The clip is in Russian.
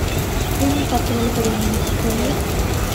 фильм патруль времени покажи